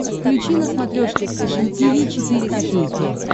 включи на смотрешке фэшн ти ви четыре ка